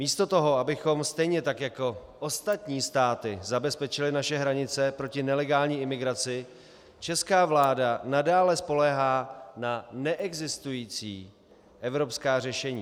Místo toho, abychom stejně tak jako ostatní státy zabezpečili naše hranice proti nelegální imigraci, česká vláda nadále spoléhá na neexistující evropská řešení.